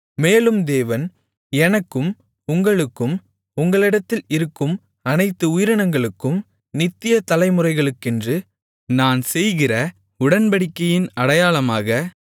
மேலும் தேவன் எனக்கும் உங்களுக்கும் உங்களிடத்தில் இருக்கும் அனைத்து உயிரினங்களுக்கும் நித்திய தலை முறைகளுக்கென்று நான் செய்கிற உடன்படிக்கையின் அடையாளமாக